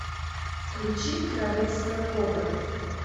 включи королевская кобра